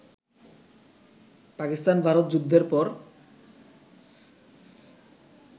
পাকিস্তান ভারত যুদ্ধের পর